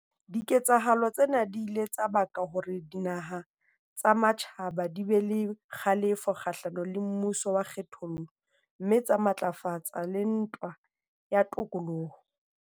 Diketsahalo tsena di ile tsa baka hore dinaha tsa matjhaba di be le kgalefo kgahlano le mmuso wa kgethollo mme tsa matlafatsa le ntwa ya tokoloho.